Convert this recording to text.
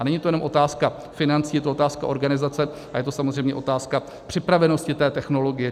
A není to jenom otázka financí, je to otázka organizace a je to samozřejmě otázka připravenosti té technologie.